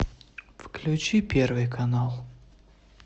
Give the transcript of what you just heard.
включи первый канал